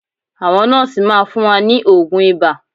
Àwọn nọ́ọ́sì máa fún wa ní oògùn ibà